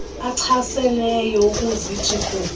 achaseneyo ukuzithi gu